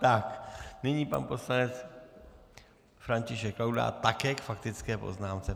Tak nyní pan poslanec František Laudát také k faktické poznámce.